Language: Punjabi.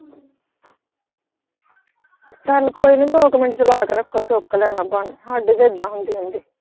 ਚਲ ਕੋਈ ਨਹੀਂ ਦੋ ਕੁ ਮਿੰਟ ਚਲਾ ਕੇ ਰੱਖੋ ਚੁੱਕ ਲੈਣਾ ਸਾਡੇ ਵੀ ਏਦਾਂ ਹੁੰਦੇ ਰਹਿੰਦੇ।